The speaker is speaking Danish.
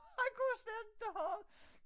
Han kunne jo slet inte have det